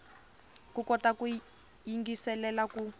u kota ku yingiselela ku